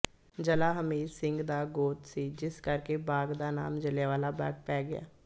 ਜੱਲ੍ਹਾ ਹਮੀਤ ਸਿੰਘ ਦਾ ਗੋਤ ਸੀ ਜਿਸ ਕਰਕੇ ਬਾਗ਼ ਦਾ ਨਾਮ ਜੱਲ੍ਹਿਆਂਵਾਲਾ ਬਾਗ਼ ਪੈ ਗਿਆ